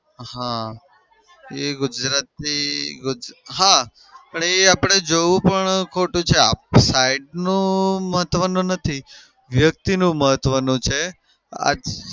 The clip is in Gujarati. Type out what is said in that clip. હા. એ ગુજરાતી હા પણ એ આપડે જોઉં પણ ખોટું છે. આપણી side નું મહત્વનું નથી. વ્યક્તિનું મહત્વનું છે.